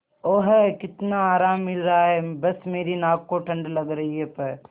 ओह कितना आराम मिल रहा है बस मेरी नाक को ठंड लग रही है प्